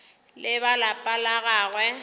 le ba lapa la gagwe